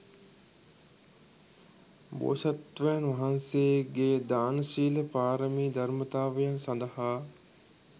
බෝධිසත්වයන් වහන්සේගේ දාන, ශීල, පාරමී ධර්මතාවයන් සඳහා